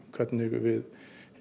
hvernig við